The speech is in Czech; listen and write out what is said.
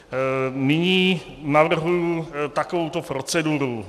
Nyní navrhuji takovouto proceduru.